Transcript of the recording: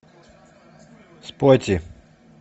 спотти